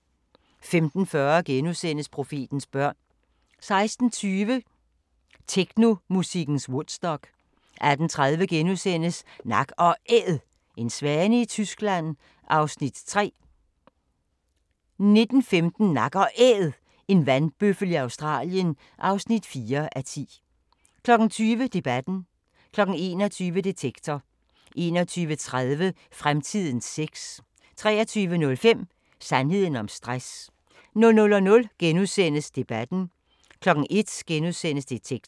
15:40: Profetens børn * 16:20: Technomusikkens Woodstock 18:30: Nak & Æd – en svane i Tyskland (3:10)* 19:15: Nak & Æd – en vandbøffel i Australien (4:10) 20:00: Debatten 21:00: Detektor 21:30: Fremtidens sex 23:05: Sandheden om stress 00:00: Debatten * 01:00: Detektor *